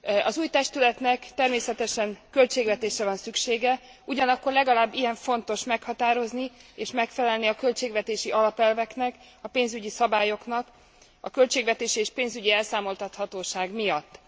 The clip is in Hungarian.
Az új testületnek természetesen költségvetésre van szüksége, ugyanakkor legalább ilyen fontos meghatározni és megfelelni a költségvetési alapelveknek, a pénzügyi szabályoknak a költségvetési és pénzügyi elszámoltathatóság miatt.